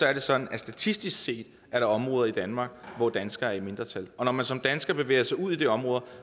er det sådan at statistisk set er der områder i danmark hvor danskere er i mindretal og når man som dansker bevæger sig ud i de områder